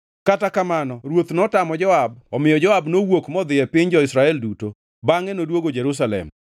Kata kamano ruoth notamo Joab omiyo Joab nowuok modhi e piny jo-Israel duto, bangʼe noduogo Jerusalem.